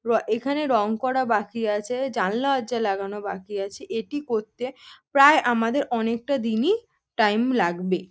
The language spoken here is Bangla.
র এখানে রং করা বাকি আছে জানলা দরজা লাগানো বাকি আছে এটি করতে প্রায় আমাদের অনেকটা দিন-ই টাইম লাগবে।